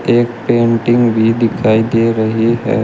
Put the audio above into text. एक पेंटिंग भी दिखाई दे रही है।